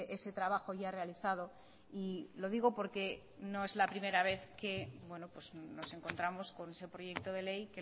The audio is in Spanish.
ese trabajo ya realizado y lo digo porque no es la primera vez que nos encontramos con ese proyecto de ley